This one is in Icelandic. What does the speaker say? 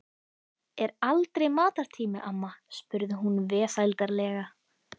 Er aldrei matartími, amma? spurði hún vesældarlega.